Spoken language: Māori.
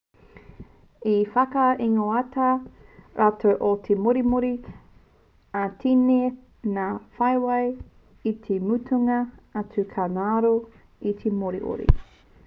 i whakaingoatia rātou ko te moriori ā i tini ngā whawhai i te mutunga atu ka ngaro te moriori